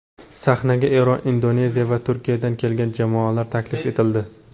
Sahnaga Eron, Indoneziya va Turkiyadan kelgan jamoalar taklif etildi.